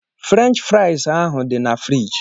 Fruench frais ahụ dị na furige.